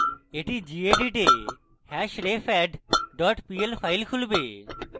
এটি gedit এ hashrefadd pl file খুলবে